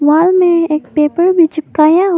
वाल में एक पेपर भी चिपकाया--